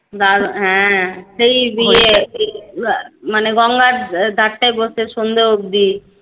হ্যাঁ সেই ইয়ে মানে গঙ্গার ধার এ বসে সন্ধে অব্দি